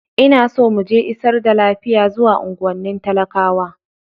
Ina so mu je isar da lafiya zuwa unguwannin talakawa.